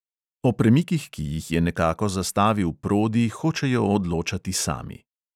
O premikih, ki jih je nekako zastavil prodi, hočejo odločati sami.